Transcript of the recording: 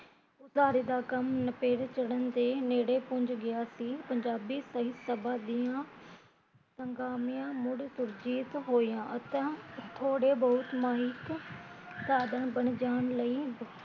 ਉਸਾਰੀ ਦਾ ਕੰਮ ਨਿਪੇਰੇ ਚੜਨ ਦੇ ਨੇੜੇ ਪੁੰਜ ਗਿਆ ਸੀ ਪੰਜਾਬੀ ਸਾਹਿਤ ਸਬਾ ਦੀਆ ਸਗਾਮੀਆ ਮੁੜ ਸੁਰਜੀਤ ਹੋਈਆ ਅਤੇ ਥੋੜੇ ਬਹੁਤ ਮਾਈਕ ਸਾਧਨ ਬਣ ਜਾਣ ਲਈ